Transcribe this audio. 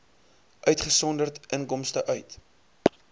uitgesonderd inkomste uit